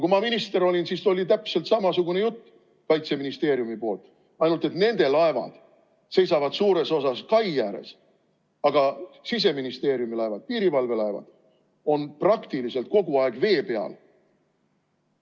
Kui ma minister olin, siis oli täpselt samasugune jutt Kaitseministeeriumis, ainult et nende laevad seisavad suures osas kai ääres, aga Siseministeeriumi laevad, piirivalve laevad on praktiliselt kogu aeg vee peal.